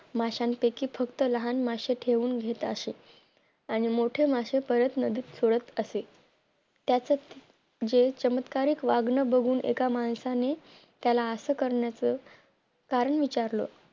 माशांपैकी फक्त लहान मासे ठेवून घेत असे आणि मोठे मासे पळत नदीत सोडत असे त्याच हे चमत्कारिक वागणं बघून माणसाने त्याला असं करण्याचं कारण विचारलं